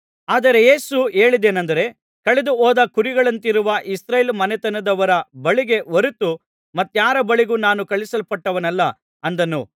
ಆದರೆ ಯೇಸು ಹೇಳಿದ್ದೇನೆಂದರೆ ಕಳೆದುಹೋದ ಕುರಿಗಳಂತಿರುವ ಇಸ್ರಾಯೇಲ್ ಮನೆತನದವರ ಬಳಿಗೇ ಹೊರತು ಮತ್ತಾರ ಬಳಿಗೂ ನಾನು ಕಳುಹಿಸಲ್ಪಟ್ಟವನಲ್ಲ ಅಂದನು